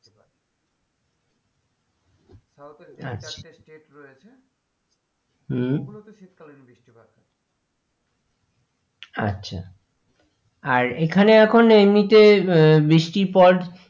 South এর চারটে আচ্ছা state রয়েছে হম ওগুলোতে শীতকালীন বৃষ্টিপাত হয় আচ্ছা আর এখানে এখন এমনিতে আহ বৃষ্টি পর,